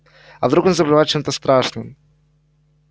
а вдруг он заболевает чем-то страшным